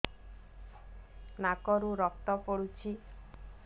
ନାକରୁ ରକ୍ତ ପଡୁଛି